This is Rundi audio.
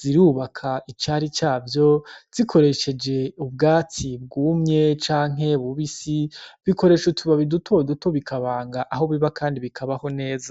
Zirubaka icari cavyo zikoresheje ubwatsi bwumye canke bubisi, bigakoresa utubati duto duto bikabanga aho biba kandi bikabaho neza.